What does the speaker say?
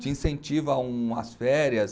Te incentiva a umas férias.